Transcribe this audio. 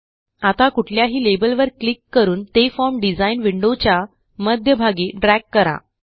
आता कुठल्याही लेबलवर क्लिक करून ते फॉर्म डिझाइन विंडोच्या मध्यभागी ड्रॅग करा